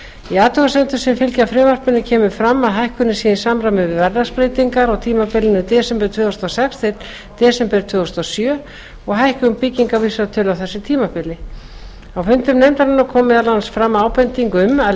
í athugasemdum sem fylgja frumvarpinu kemur fram að hækkunin sé í samræmi við verðlagsbreytingar á tímabilinu desember tvö þúsund og sex til desember tvö þúsund og sjö og hækkun byggingarvísitölu á þessu tímabili á fundum nefndarinnar kom meðal annars fram ábending um að